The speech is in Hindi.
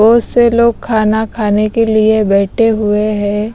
बहुत से लोग खाना खाने के लिए बैठे हुए है।